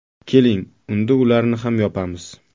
Keling, unda ularni ham yopamiz!